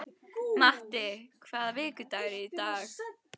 Matti, hvaða vikudagur er í dag?